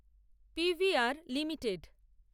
PVR limited